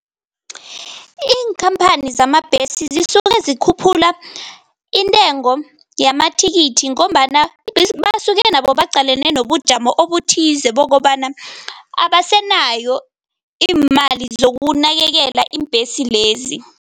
Iinkhamphani zamabhesi zisuke zikhuphula intengo yamathikithi ngombana basuke nabo baqalene nobujamo obuthize bokobana abasenayo iimali zokunakekela iimbhesi lezi.